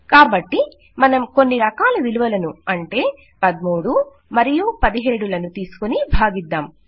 కాబట్టి మనం కొన్ని రకాల విలువలను అంటే 13 మరియు 17 లను తీసుకుని భాగిద్దాం